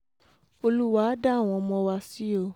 olúwa á dá àwọn ọmọ wa sí o